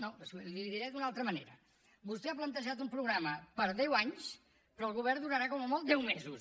no li ho diré d’una altra manera vostè ha plantejat un programa per a deu anys però el govern durarà com a molt deu mesos